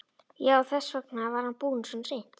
Já, þess vegna var hann búinn svona seint.